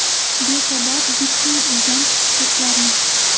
Besabab bittang uydan chiqib ketlaring!